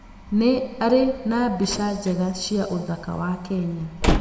Nĩ arĩ na mbica njega cia ũthaka wa Kenya.